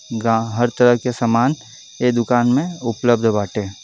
गाँ हर तरह के सामान ए दुकान में उपलब्ध बाटे |